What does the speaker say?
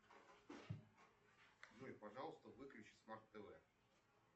джой пожалуйста выключи смарт тв